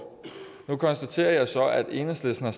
nu konstaterer jeg så at enhedslisten har